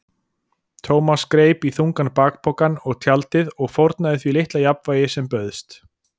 Thomas greip í þungan bakpokann og tjaldið og fórnaði því litla jafnvægi sem bauðst.